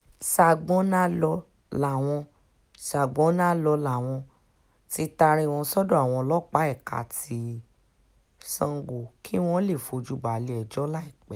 sagbonalo làwọn sagbonalo làwọn um tí taari wọn sọ́dọ̀ àwọn ọlọ́pàá ẹ̀ka ti um sango kí wọ́n lè fojú wọn balẹ̀-ẹjọ́ láìpẹ́